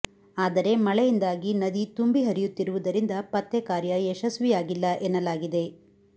ಆದರೆ ಮಳೆಯಿಂದಾಗಿ ನದಿ ತುಂಬಿ ಹರಿಯುತ್ತಿ ರುವುದರಿಂದ ಪತ್ತೆಕಾರ್ಯ ಯಶಸ್ವಿಯಾಗಿಲ್ಲ ಎನ್ನಲಾಗಿದೆ